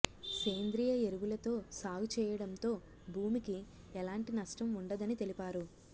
సేంద్రియ ఎరువులతో సాగు చేయడంతో భూమికి ఎలాంటి నష్టం ఉండదని తెలిపారు